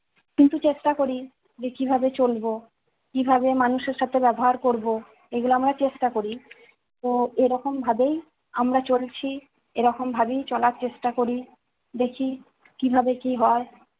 কিন্তু চেষ্টা করি, যে কিভাবে চলব, কিভাবে মানুষের সাথে ব্যবহার করব, এগুলো আমরা চেষ্টা করি। তো এরকম ভাবেই আমরা চলছি। এরকম ভাবেই চলার চেষ্টা করি। দেখি কিভাবে কি হয়।